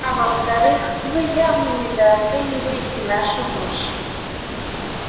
а во вторых вы явно недооцениваете нашу мощь